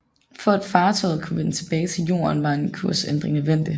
For at fartøjet kunne vende tilbage til Jorden var en kursændring nødvendig